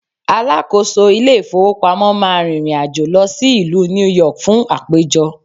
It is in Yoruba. alákóso ilé ifowópamọ́ ma rìrìn àjò lọ sí ìlú New York fun àpéjọ